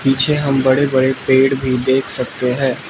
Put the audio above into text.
पीछे हम बड़े बड़े पेड़ भी देख सकते हैं।